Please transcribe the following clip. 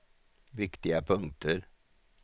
viktiga punkter